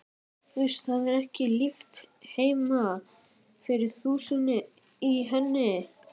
Uss, það er ekki líft heima fyrir þusinu í henni.